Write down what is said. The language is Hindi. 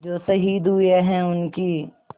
जो शहीद हुए हैं उनकी